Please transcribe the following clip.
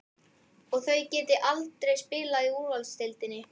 Að þau geti aldrei spilað í úrvalsdeildinni?